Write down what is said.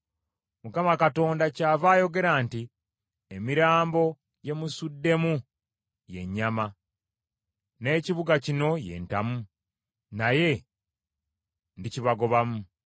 “ Mukama Katonda kyava ayogera nti, Emirambo gye musuddemu ye nnyama, n’ekibuga kino ye ntamu, naye ndikibagobamu.